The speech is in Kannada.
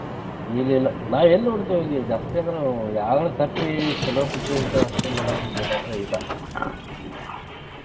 ಇಲ್ಲ ಇಲ್ಲ ನಾವ್ ಎಲ್ಲಿ ನೋಡ್ತಿವಿ ಈಗ ಜಾಸ್ತಿ ಅಂದ್ರ ಯಾವದರಾ ತಪ್ಪಿ ಚೊಲೋ picture ಇದ್ರ ಅಷ್ಟ ನೋಡಾಕ್ ಹೊಕ್ಕೆವಿ ಇಲ್ಲಾ ಅಂದ್ರ ಇಲ್ಲ